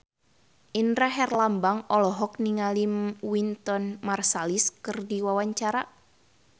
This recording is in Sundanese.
Indra Herlambang olohok ningali Wynton Marsalis keur diwawancara